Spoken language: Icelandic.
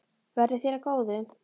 Verði þér að góðu.